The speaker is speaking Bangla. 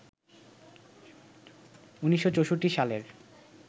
১৯৬৪ সালের